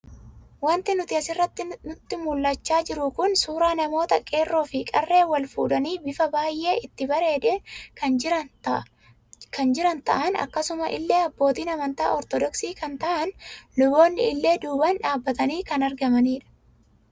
Waanti nuti asirratti nutti mul'ataa jiru kun, suuraa namoota qeerroo fi qarree wal fuudhanii bifa baayyee itti bareedeen kan jiran ta'an, akkasuma illee abbootiin amantaa ortodoksii kan ta'an luboonni illee duubaan dhaabbatanii kan argaman